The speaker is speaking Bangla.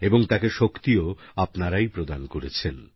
এবং তাকে শক্তিও আপনারাই প্রদান করেছেন